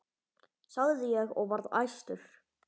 sagði ég og var æstur.